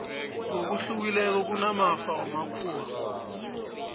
ngokuhlukileko kunamafa wamakhuwa